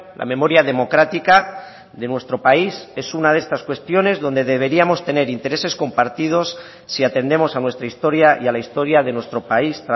la memoria democrática de nuestro país es una de estas cuestiones donde deberíamos tener intereses compartidos si atendemos a nuestra historia y a la historia de nuestro país